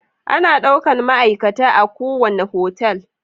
Ana daukan ma'aikata a kuwanna hotel